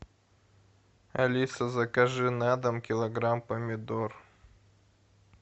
алиса закажи на дом килограмм помидор